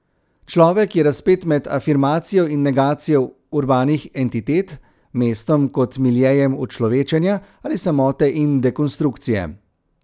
Človek je razpet med afirmacijo in negacijo urbanih entitet, mestom kot miljejem učlovečenja ali samote in dekonstrukcije.